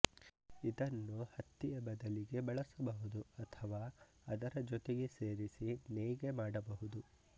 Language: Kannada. ಇದನ್ನು ಹತ್ತಿಯ ಬದಲಿಗೆ ಬಳಸಬಹುದು ಅಥವಾ ಅದರ ಜೊತೆಗೆ ಸೇರಿಸಿ ನೇಯ್ಗೆ ಮಾಡಬಹುದು